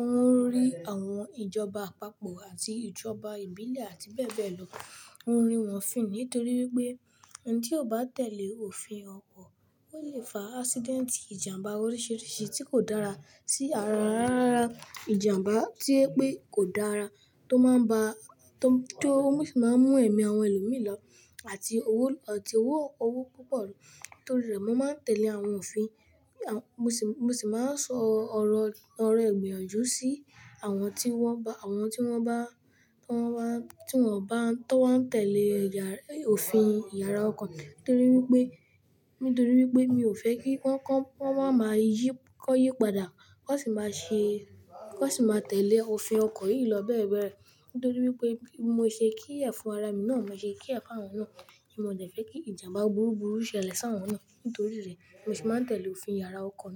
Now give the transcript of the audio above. ó ń rí àwọn ìjọba àpapọ̀ àti ìjọba ìbílẹ̀ àti bẹ́ẹ̀ bẹ́ẹ̀ lọ, ó ń rí wọn fìn nítorí wípé ẹni tí ò bá tẹ̀lé òfin ọkọ̀, ó lè fa accident ìjàmbá oríṣiríṣi tí kò dára sí ara rárá. Ìjàmbá tí ẹ pé kò dára tó máa ń ba tó mú ṣì máa ń mú ẹ̀mí àwọn ẹlòmí lọ àti owó ọtí owó owó púpọ̀ lọ. Nítorí rẹ̀, mo máa ń tẹ̀lé àwọn òfin. Mo ṣì máa ń sọ ọ̀rọ̀ ọ̀rọ̀ ìgbìyànjú sí àwọn tí wọ́n ba àwọn tí wọ́n bá tí wọ́n bá tí wọ́n bá tó wá ń tẹ̀lé ìyára òfin ìyára ọkọ̀ nítorí wípé nítorí wípé mi ò fẹ́ kí wọ́n kó wọ́n máa máa yí kó yí padà, kó sì máa ṣe kó sì máa tẹ̀lé òfin ọkọ̀ yìí lọ bẹ́ẹ̀ bẹ́ẹ̀ lọ. Nítorí wípé mo ṣe care fún ara mi náà, mo ṣe care fún àwọn náà ti mo dẹ̀ fẹ́ kí ìjàmbá burúburú ṣẹlẹ̀ si àwọn náà. Nítorí rẹ̀, mo sì máa ń tẹ̀lé òfin ìyára ọkọ̀ náà.